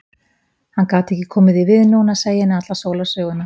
Hann gat ekki komið því við núna að segja henni alla sólarsöguna.